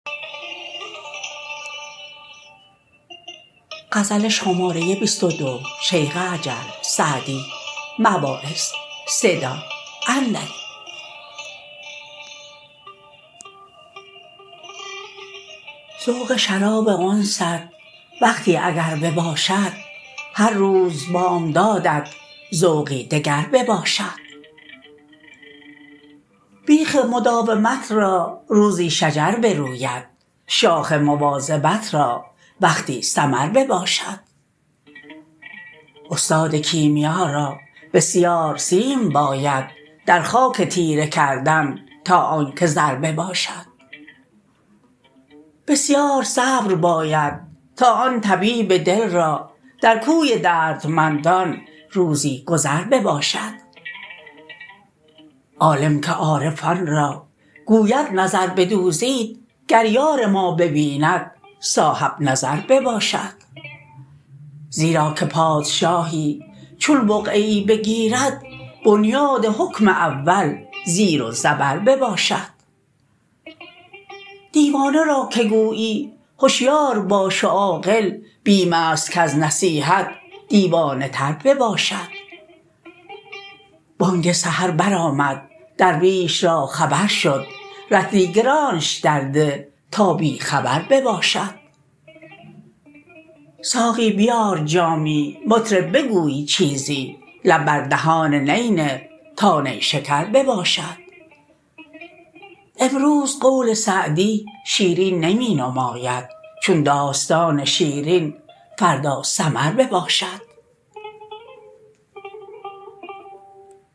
ذوق شراب انست وقتی اگر بباشد هر روز بامدادت ذوقی دگر بباشد بیخ مداومت را روزی شجر بروید شاخ مواظبت را وقتی ثمر بباشد استاد کیمیا را بسیار سیم باید در خاک تیره کردن تا آن که زر بباشد بسیار صبر باید تا آن طبیب دل را در کوی دردمندان روزی گذر بباشد عالم که عارفان را گوید نظر بدوزید گر یار ما ببیند صاحب نظر بباشد زیرا که پادشاهی چون بقعه ای بگیرد بنیاد حکم اول زیر و زبر بباشد دیوانه را که گویی هشیار باش و عاقل بیم است کز نصیحت دیوانه تر بباشد بانگ سحر بر آمد درویش را خبر شد رطلی گرانش درده تا بی خبر بباشد ساقی بیار جامی مطرب بگوی چیزی لب بر دهان نی نه تا نیشکر بباشد امروز قول سعدی شیرین نمی نماید چون داستان شیرین فردا سمر بباشد